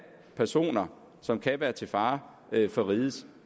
personer som kan være til fare for rigets